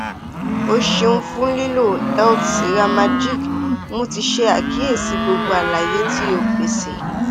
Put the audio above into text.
o ṣeun fun lilo healthcaremagic mo ti ṣe akiyesi gbogbo alaye ti o pese